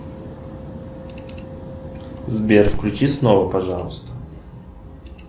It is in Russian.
сбер включи снова пожалуйста